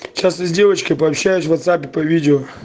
сейчас я с девочкой пообщаюсь в ватсапе по видео